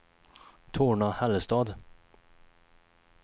Torna-Hällestad